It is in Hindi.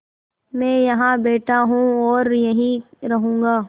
मैं यहाँ बैठा हूँ और यहीं रहूँगा